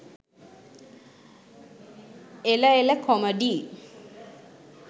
එල එල කොමඩිි